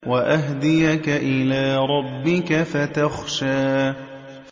وَأَهْدِيَكَ إِلَىٰ رَبِّكَ فَتَخْشَىٰ